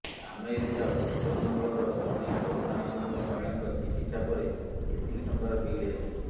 America Boston ଅଞ୍ଚଳର ଜଣେ corona ଆକ୍ରାନ୍ତ ମହିଳାଙ୍କ ଚିକିତ୍ସା ପରେ ଏତିକି ଟଙ୍କାର ବିଲ୍ ଆସିଛି